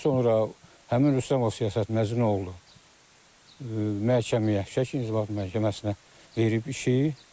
Ondan sonra həmin Rüstəmov siyasət məcnun oğlu məhkəməyə Şəki İnzibati Məhkəməsinə verib işi.